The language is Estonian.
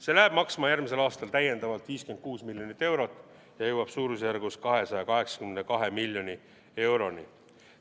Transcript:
See läheb maksma järgmisel aastal täiendavalt 56 miljonit eurot ja jõuab suurusjärgus 282 miljoni euroni.